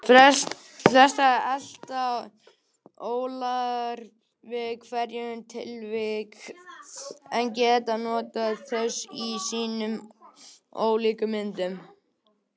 Fæstir elta ólar við hvert tilvik en geta notið þess í sínum ólíku myndum.